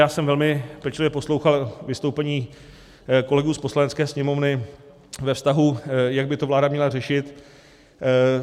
Já jsem velmi pečlivě poslouchal vystoupení kolegů z Poslanecké sněmovny ve vztahu, jak by to vláda měla řešit.